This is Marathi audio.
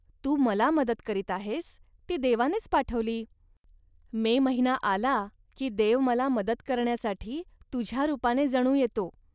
तू मला मदत करीत आहेस, ती देवानेच पाठविली. मे महिना आला, की देव मला मदत करण्यासाठी तुझ्या रूपाने जणू येतो